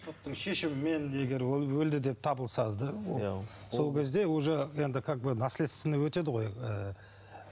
соттың шешімімен егер өлді деп табылса сол кезде уже енді как бы наследственный өтеді ғой ы